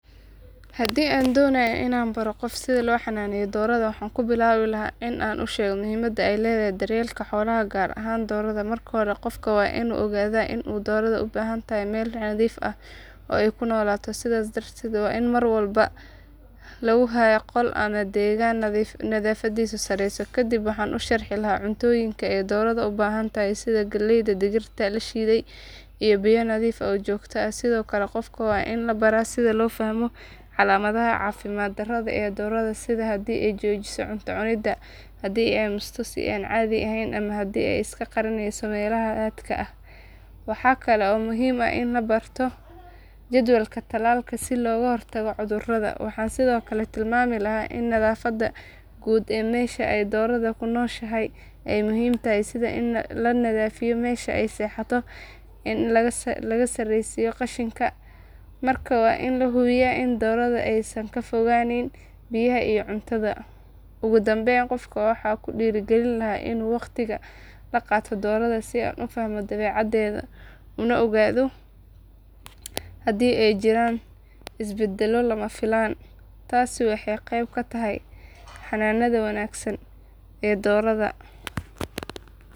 Hadii an donayo qof sitha lo xananeyo doraada waxan kubilawi laha in an ushego muhiimaada ee ledhahay xolaha gar ahan doraada qofka waa in u ogaada oo ee kunolato sithas darteed waa in mar walbo lagu hayo qol nadhiif sareysa no sharxi lahay iyo biya nadhiif ah sithokale waa in qofka labaro sitha ama calamaadaha cafimaad daro ah dooraada sitha ee jojisa cunta cuniida hadii ee amusto hadii ee iska qarineyso melaha hadka ah waxaa kalo muhiim ah in barto jadwalka talalka si loga hortago cudhuraada waxaa sithokale tilmami lahay nadhafaada quud mesha doraada ee kunoshaahahay, tasi waxee qeeb ka tahay xananaada wanagsan ee doraada.